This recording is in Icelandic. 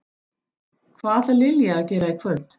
Hvað ætlar Lilja að gera í kvöld?